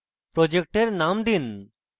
project name দিন